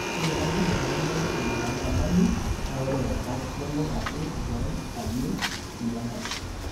Ore kuna reteni nemeishu inanyamali naa ore engae kelo ake engerai ayieu eyieng'are.